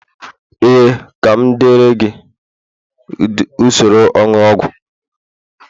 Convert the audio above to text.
ee, ka m deere gị usoro onunu ogwu